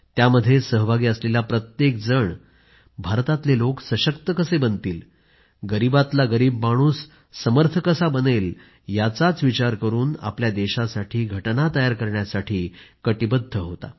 त्यामध्ये सहभागी असलेला प्रत्येकजण भारतातले लोक सशक्त कसे बनतील गरीबातला गरीब माणसू समर्थ कसा बनेल याचाच विचार करून आपल्या देशासाठी घटना तयार करण्यासाठी कटिबद्ध होता